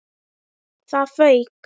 ÞAÐ FAUK!